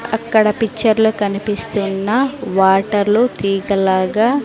అక్కడ పిక్చర్లో కనిపిస్తున్న వాటర్లు తీగలాగా--